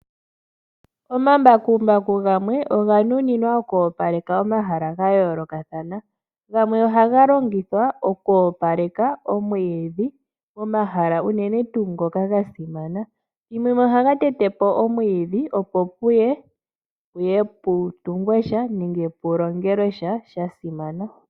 Omambakumbaku gamwe oga nuninwa okwoopaleka omahala ga yoolokathana gamwe ohaga longithwa okwoopaleka omwiidhi nomahala unene tuu ngoka ga simana ethumbo limwe ohaga tetepo omwiidhi opo puye pu tungwesha nenge puye pu longeleshwa shasimana.